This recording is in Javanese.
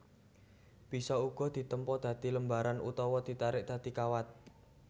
Bisa uga ditempa dadi lembaran utawa ditarik dadi kawat